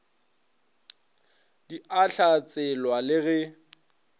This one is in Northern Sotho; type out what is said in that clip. di a hlatselwa le ge